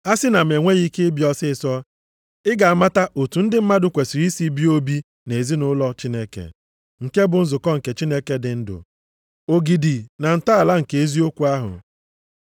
Asị na m enweghị ike bịa ọsịịsọ, ị ga-amata otu ndị mmadụ kwesiri isi bie obi nʼezinaụlọ Chineke, nke bụ nzukọ nke Chineke dị ndụ, ogidi na ntọala nke eziokwu ahụ.